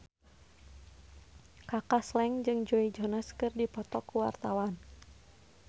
Kaka Slank jeung Joe Jonas keur dipoto ku wartawan